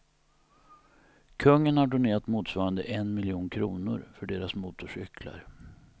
Kungen har donerat motsvarande en miljon kronor för deras motorcyklar.